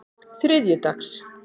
þriðjudags